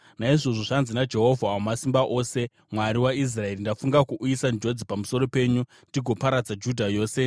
“Naizvozvo, zvanzi naJehovha Wamasimba Ose, Mwari waIsraeri: Ndafunga kuuyisa njodzi pamusoro penyu ndigoparadza Judha yose.